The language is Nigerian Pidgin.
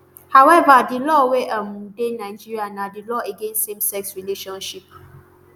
however di law wey um dey nigeria na di law against samesex relationship